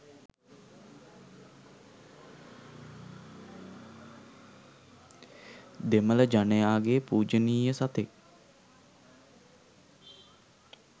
දෙමල ජනයාගේ පුජනිය සතෙක්.